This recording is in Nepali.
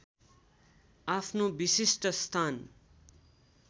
आफ्नो विशिष्ट स्थान